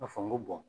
A fɔ n ko bɔn